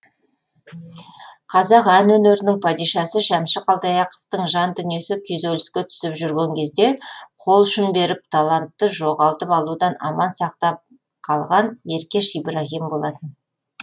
қазақ ән өнерінің падишасы шәмші қалдаяқовтың жан дүниесі күйзеліске түсіп жүрген кезде қолұшын беріп талантты жоғалтып алудан аман сақтап қалған еркеш ибраһим болатын